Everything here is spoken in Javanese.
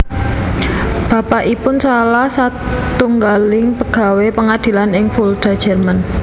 Bapakipun salah satunggaling pegawé pengadilan ing Fulda Jerman